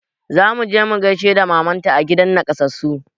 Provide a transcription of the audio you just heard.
Zamu je mu gaishe da maman ta a gidan nakasassu